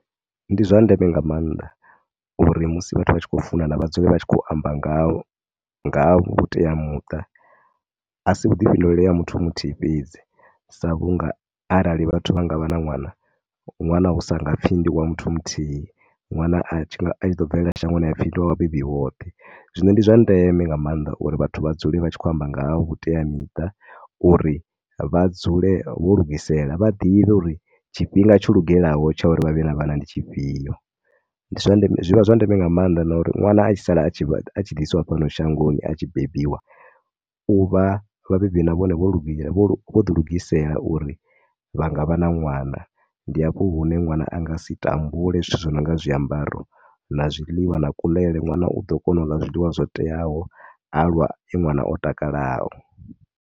Ndi zwa ndeme nga maanḓa uri musi vhathu vha tshi khou funana vha dzule vha tshi khou amba nga ha, nga ha vhuteamuṱa. A si vhuḓifhinduleli ha muthu muthihi fhedzi sa vhu nga arali vhathu vha nga vha na ṅwana. Ṅwana hu nga sa pfhi ndi wa muthu muthihi, ṅwana a tshi ḓo bvelela shangoni ha pfhi ndi wa vhabebi vhoṱhe. Zwino ndi zwa ndeme nga maanḓa uri vhathu vha dzule vha tshi khou amba nga ha vhuteamiṱa uri vha dzule vho lugisela, vha ḓivhe uri tshifhinga tsho lugelaho tsha uri vha vhe na vhana ndi tshifhio. Ndi zwa, zwi vha zwa ndeme nga maanḓa na uri ṅwana a tshi sala a tshi ḓisiwa fhano shangoni a tshi bebiwa, u vha vhabebi na vhone vho lu, vho ḓilugisela uri vha nga vha na ṅwana. Ndi hafho hune ṅwana a nga si tambule zwithu zwo no nga zwiambaro na zwiḽiwa na kuḽele. Ṅwana u ḓo kona u ḽa zwiḽiwa zwo teaho a vha e ṅwana o takalaho.